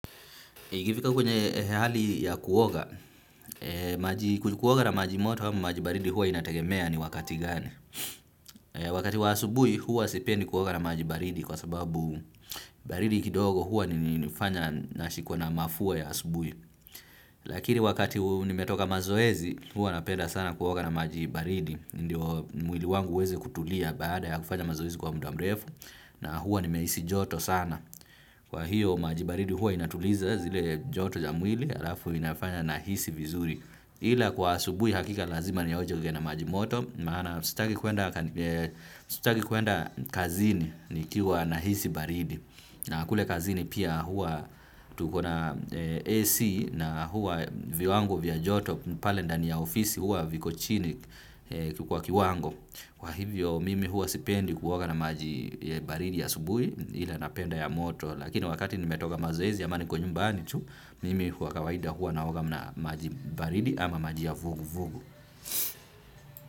Ikifika kwenye hali ya kuoga, maji kuoga na maji moto au maji baridi huwa inategemea ni wakati gani. Wakati wa asubuhi huwa sipendi kuoga na maji baridi kwa sababu baridi kidogo huwa nifanya nashikwa na mafua ya asubuhi. Lakini wakati nimetoka mazoezi huwa napenda sana kuoga na maji baridi. Ndiyo mwili wangu uweze kutulia baada ya kufanya mazoezi kwa muda mrefu na hua nimehisi joto sana. Kwa hiyo maji baridi huwa inatuliza zile joto ya mwili halafu inafanya nahisi vizuri ila kwa asubuhi hakika lazima nioge na maji moto. Maana sitaki kuenda kazini nikiwa nahisi baridi. Na kule kazini pia huwa tukona AC na huwa viwango vya joto. Pale ndani ya ofisi huwa viko chini kwa kiwango. Kwa hivyo mimi huwa sipendi kuoga na maji baridi asubuhi ila napenda ya moto, lakini wakati nimetoka mazoezi ama niko nyumbani tu, mimi kwa kawaida huwa naoga na maji baridi ama maji ya vugu vugu.